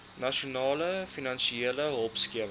nasionale finansiële hulpskema